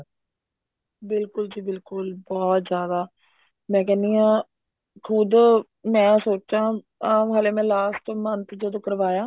ਬਿਲਕੁਲ ਜੀ ਬਿਲਕੁਲ ਬਹੁਤ ਜਿਆਦਾ ਮੈਂ ਕਹਿਣੀ ਹਾਂ ਖੁਦ ਮੈਂ ਸੋਚਾਂ ਹਲੇ ਮੈਂ last month ਜਦੋਂ ਕਰਵਾਇਆ